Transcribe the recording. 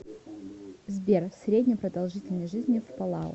сбер средняя продолжительность жизни в палау